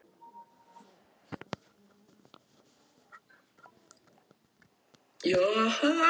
Margrét: Ég er búin að læra að lesa í leikskólanum.